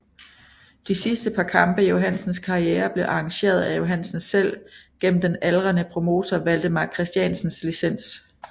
De sidste par kampe i Johansens karriere blev arrangeret af Johansen selv gennem den aldrende promotor Valdemar Christiansens licens